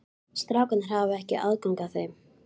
Strákarnir hafa ekki aðgang að þeim?